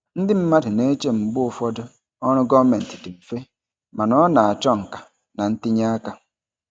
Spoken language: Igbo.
Ndị mmadụ na-eche mgbe ụfọdụ ọrụ gọọmentị dị mfe, mana ọ na-achọ nka na ntinye aka.